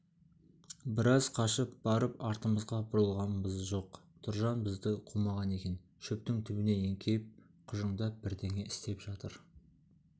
біраз қашып барып артымызға бұрылғанбыз жоқ тұржан бізді қумаған екен шөптің түбіне еңкейіп құжыңдап бірдеңе істеп жатыр